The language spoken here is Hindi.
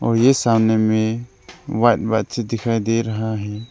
और ये सामने में व्हाइट व्हाइट से दिखाई दे रहा है।